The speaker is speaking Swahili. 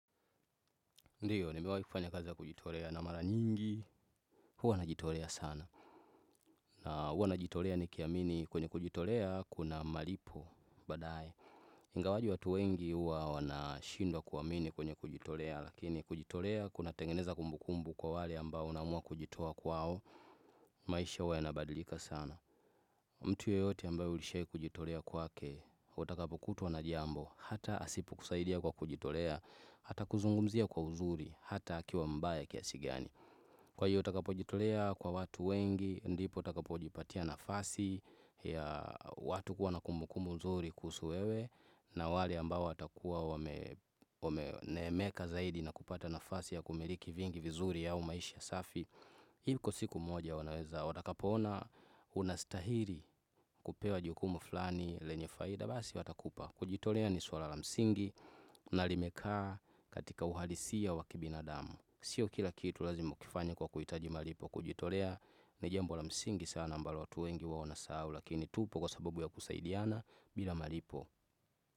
Ndiyo, nimewahi kufanya kazi ya kujitolea na mara nyingi. Huwa najitolea sana. Na huwa najitolea nikiamini kwenye kujitolea kuna malipo, baadae. Ingawaje watu wengi huwa wanashindwa kuamini kwenye kujitolea. Lakini kujitolea kunatengeneza kumbu kumbu kwa wale ambao unaamua kujitoa kwao. Maisha huwa yanabadilika sana. Mtu yeyote ambaye ushaikujitolea kwake. Utakapokutwa na jambo. Hata asipokusaidia kwa kujitolea. Atakuzungumzia kwa uzuri. Hata akiwa mbaya kiasi gani. Kwa hiyo utakapojitolea kwa watu wengi, ndipo utakapo jipatia nafasi ya watu kuwa na kumbukumbu nzuri kuhusu wewe na wale ambao watakuwa wameneemeka zaidi na kupata nafasi ya kumiliki vingi vizuri au maisha safi. Iko siku moja wanaweza watakapoona unastahili kupewa jukumu flani lenye faida basi watakupa kujitolea ni suala la msingi na limekaa katika uhalisiya wa kibinadamu Sio kila kitu lazima ukifanya kwa kuhitaji malipo kujitolea ni jambo la msingi sana ambalo watu wengi huwa wanasahau lakini tupo kwa sababu ya kusaidiana bila malipo.